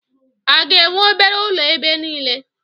A ga-enwe obere ụlọ ebe niile?